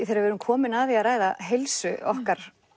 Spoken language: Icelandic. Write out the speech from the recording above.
þegar við erum komin að því að ræða heilsu okkar